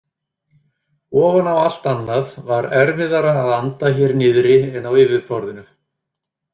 Ofan á allt annað var erfiðara að anda hér niðri en á yfirborðinu.